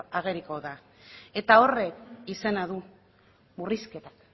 ageriko da eta horrek izena du murrizketak